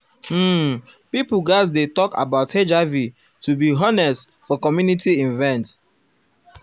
um pipo gatz dey talk about hiv to be um honest for community event